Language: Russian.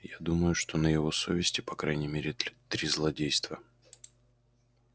я думаю что на его совести по крайней мере три злодейства